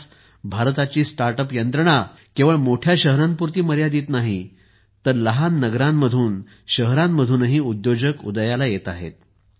आज भारताची स्टार्टअप यंत्रणा केवळ मोठ्या शहरांपुरती मर्यादित नाही तर लहान नगरांमधून आणि शहरांमधूनही उद्योजक उदयाला येत आहेत